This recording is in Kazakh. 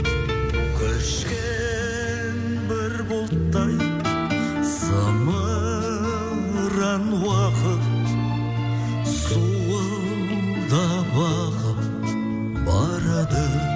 көшкен бір бұлттай зымыран уақыт зуылдап ағып барады